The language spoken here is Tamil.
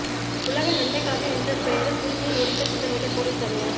உலக நன்மைக்காக என்ற பெயரில் சிறுமியை எரிக்க திட்டமிட்ட போலிச் சாமியார்